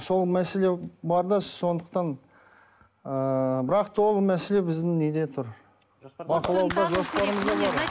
сол мәселе бар да сондықтан ыыы бірақ та ол мәселе біздің неде тұр бақылауда жоспарымызда бар